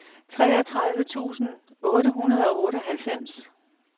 treogtredive tusind otte hundrede og otteoghalvfems